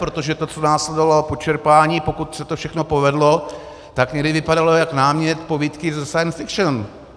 Protože to, co následovalo po čerpání, pokud se to všechno povedlo, tak někdy vypadalo jako námět povídky ze science fiction.